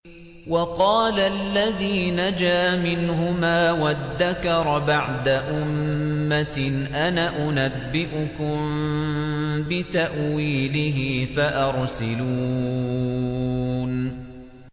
وَقَالَ الَّذِي نَجَا مِنْهُمَا وَادَّكَرَ بَعْدَ أُمَّةٍ أَنَا أُنَبِّئُكُم بِتَأْوِيلِهِ فَأَرْسِلُونِ